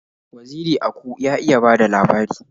Waziri Aku ya iya bada labari